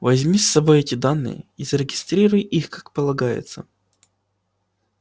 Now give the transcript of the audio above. возьми с собой эти данные и зарегистрируй их как полагается